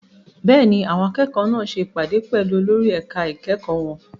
Bẹ́ẹ̀ni, àwọn akẹ́kọ̀ọ́ náà ṣe ìpàdé pẹ̀lú olórí ẹ̀ka ìkẹ́kọ̀ọ́ wọn.